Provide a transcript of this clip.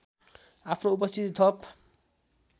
आफ्नो उपस्थिति थप